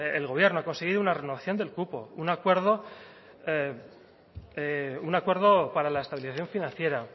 el gobierno ha conseguido una renovación del cupo un acuerdo para la estabilización financiera